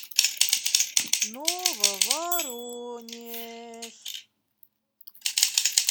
нововоронеж